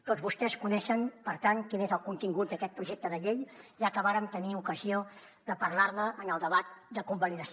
tots vostès coneixen per tant quin és el contingut d’aquest projecte de llei ja que vàrem tenir ocasió de parlar ne en el debat de convalidació